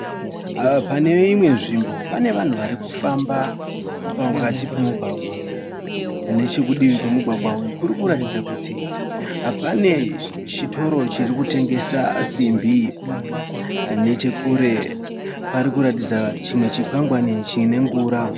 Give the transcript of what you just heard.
Pane imwe nzvimbo pane vanhu varikufamba pakati pomugwagwa. Nechekudivi kwomugwagwa uyu kurikuratidza kuti pane chitoro chirikukutengesa simbi. Nechekure parikuatidza chimwe chikwangwani chine ngura.